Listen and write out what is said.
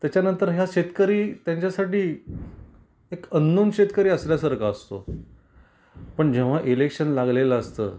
त्याच्या नंतर या शेतकरी त्यांच्यासाठी एक अंनोन शेतकरी असल्या सारख असतो. पण जेव्हा इलेक्शन लागलेल असत,